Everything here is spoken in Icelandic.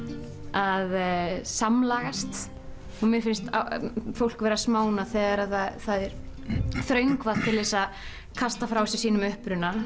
að samlagast mér finnst fólk vera smánað þegar það er þröngvað til að kasta frá sér sínum uppruna